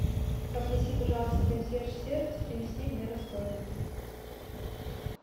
попроси пожалуйста консьерж сервис принести мне расходники